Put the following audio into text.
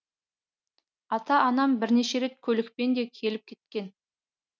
ата анам бірнеше рет көлікпен де келіп кеткен